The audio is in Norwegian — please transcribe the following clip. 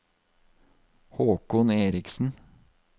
Haakon Erichsen